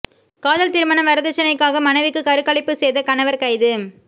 காதல் திருமணம் வரதட்சணைக்காக மனைவிக்கு கருக்கலைப்பு செய்த கணவர் கைது